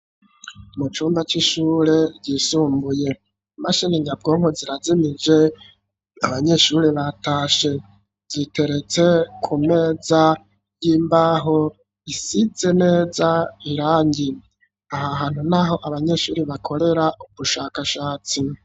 Mu cumba c'ishure ryisumbuye. Imashini nyabwonko zirazimije. Abanyeshuri batashe. Yiteretse ku meza y'imbaho isize neza irangi, aha hantu ni aho abanyeshuri bakorera ubushakashatsi.